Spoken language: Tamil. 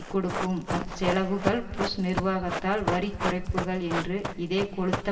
கொடுக்கும் அச்செலவுகள் புஷ் நிர்வாகத்தால் வரிக் குறைப்புக்கள் என்று இதே கொழுத்த